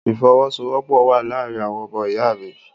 Ìfọwọ́sọwọ́pọ̀ wà láàrin àwọn ọmọ ìyá mi